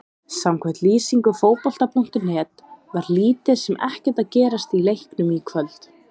Samkvæmt lýsingu Fótbolta.net var lítið sem ekkert að gerast í leiknum í kvöld.